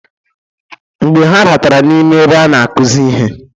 Mgbe ha batara n'ime ebe a na-akuzi ihe.